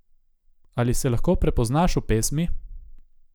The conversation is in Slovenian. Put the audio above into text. Ali se lahko prepoznaš v pesmi?